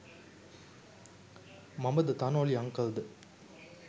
මමද තනෝලි අන්කල් ද?